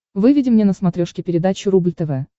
выведи мне на смотрешке передачу рубль тв